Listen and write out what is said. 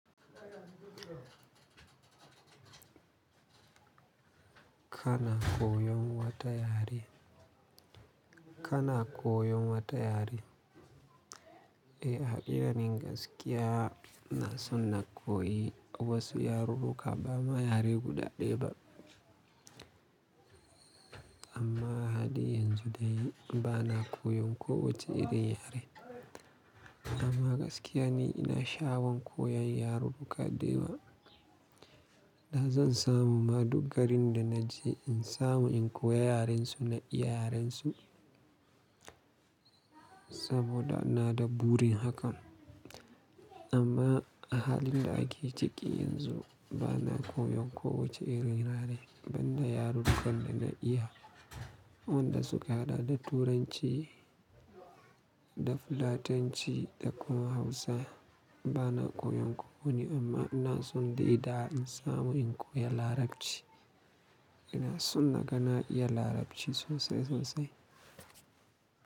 Kana koyon wata yare? Kana koyon wata yare? Eh, hakika nin gaskiya ina son na koyi wasu yarurruka ba ma yare guda ɗaya ba. Amma a halin yanzu dai bana koyon kowacce irin yare. Amma gaskiya ni ina sha'awan koyan yarurruka da yawa. Da zan samu maduggarin da naje in samu in koya yarinsu na iya yarinsu saboda na da burin hakan. Amma a halin da ake ciki yanzu bana koyon kowacce irin yare banda yarurrukan da na iya. Wanda suke hada da Turanci da Fulatanci da kuma Hausa. Bana koyan ko wani amma ina son daida in samu in koya Larabci. Ina son na ga na iya Larabci sosai sosai.